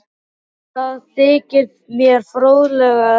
Það þykir mér fróðlegt að heyra